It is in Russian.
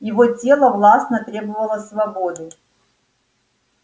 его тело властно требовало свободы